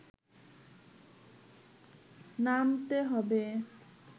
নামতে হবে